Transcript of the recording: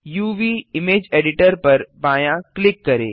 uvइमेज editor पर बायाँ click करें